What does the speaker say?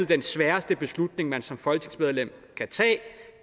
den sværeste beslutning man som folketingsmedlem kan tage